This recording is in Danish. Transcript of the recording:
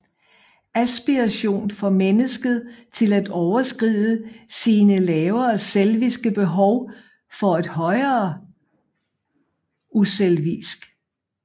Aspiration får mennesket til at overskride sine lavere selviske behov for et højere uselvisk